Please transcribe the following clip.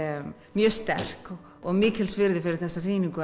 mjög sterk og mikils virði fyrir þessa sýningu